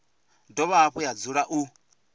dovha hafhu ya dzula u